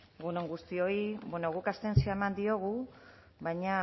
egun on guztioi bueno guk abstentzioa eman diogu baina